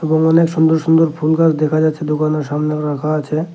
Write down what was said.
উনোনে সুন্দর সুন্দর ফুল গাস দেখা যাচ্ছে দুকানের সামনেও রাখা আছে।